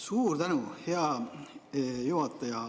Suur tänu, hea juhataja!